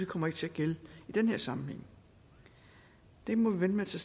kommer til at gælde i den her sammenhæng det må vi vente